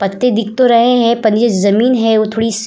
पत्ते दिख तो रहे हैं पर ये जमीन है वो थोडी सस --